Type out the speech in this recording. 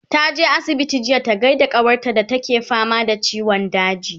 taje asibiti jiya ta gaida kawar ta da take fama da ciwon daji